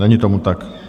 Není tomu tak.